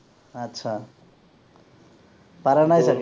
আচ্ছা, পৰা নাই চাগে